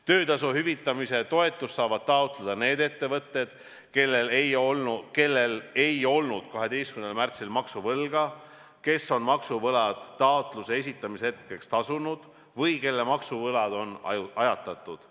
Töötasu hüvitamise toetust saavad taotleda need ettevõtted, kellel ei olnud 12. märtsil maksuvõlga, kes on maksuvõlad taotluse esitamise hetkeks tasunud või kelle maksuvõlad on ajatatud.